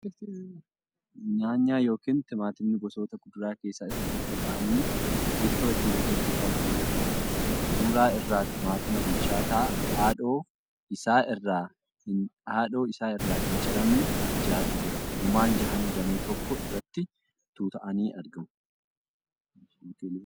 Nyaanyaa yookiin timaatimni gosoota kuduraa keessaa isa tokko ta'anii ittoo ittin hojjachuuf kan fayyaduudha. Suura irraa timaatima bilchaataa haadhoo isaa irraa hin ciramne ja'atu jira. Gumaan ja'anuu damee tokko irratti tuuta'anii argamu.